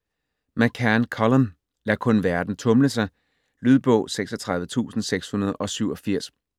McCann, Colum: Lad kun verden tumle sig Lydbog 36687